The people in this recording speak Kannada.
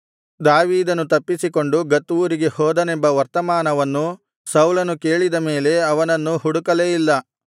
ದಾವೀದನು ತಪ್ಪಿಸಿಕೊಂಡು ಗತ್ ಊರಿಗೆ ಹೋದನೆಂಬ ವರ್ತಮಾನವನ್ನು ಸೌಲನು ಕೇಳಿದ ಮೇಲೆ ಅವನನ್ನು ಹುಡುಕಲೇ ಇಲ್ಲ